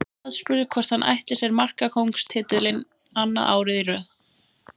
Aðspurður hvort hann ætli sér markakóngstitilinn annað árið í röð.